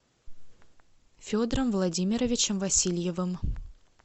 федором владимировичем васильевым